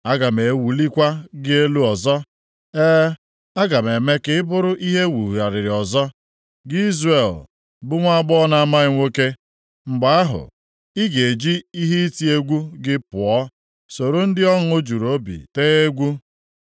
Aga m ewulikwa gị elu ọzọ, e, aga m eme ka ị bụrụ ihe e wugharịrị ọzọ, gị Izrel bụ nwaagbọghọ na-amaghị nwoke. Mgbe ahụ, ị ga-eji ihe iti egwu gị pụọ soro ndị ọṅụ juru obi tee egwu.